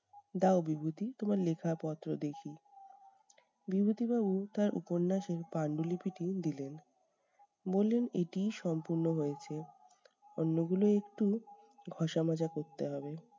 দাও বিভূতি তোমার লেখাপত্র দেখি। বিভূতিবাবু তার উপন্যাসের পাণ্ডুলিপিটি দিলেন। বললেন এটিই সম্পূর্ণ হয়েছে, অন্যগুলো একটু ঘষা-মাজা করতে হবে।